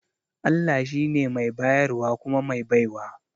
Allah shi ne mai bayarwa kuma mai baiwa